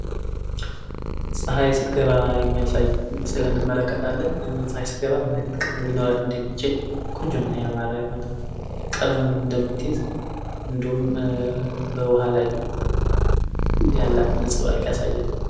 ፀሀይ ስትገባ የሚያሳይ ምስል እንመለከታለን። ፀሀይ ስትገባ ምን አይነት ቀለም ሊኖራት እንደሚችል ቆንጆና ያማረ የሆነ ቀለምን እንደምትይዝ እንዲሁም በዉሀ ላይ ያላትን ነፀብራቅ ያሳያል።